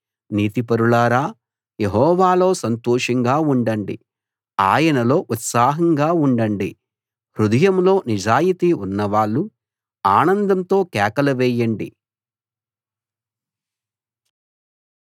నీతిపరులారా యెహోవాలో సంతోషంగా ఉండండి ఆయనలో ఉత్సాహంగా ఉండండి హృదయంలో నిజాయితీ ఉన్నవాళ్ళు ఆనందంతో కేకలు వేయండి